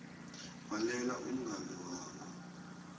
bhalela umngani wakho